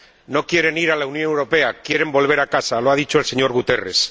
No quieren ir a la Unión Europea, quieren volver a casa —lo ha dicho el señor Guterres—.